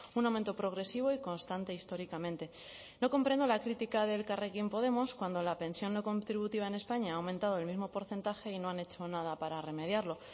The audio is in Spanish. un aumento progresivo y constante históricamente no comprendo la crítica de elkarrekin podemos cuando la pensión no contributiva en españa ha aumentado el mismo porcentaje y no han hecho nada para remediarlo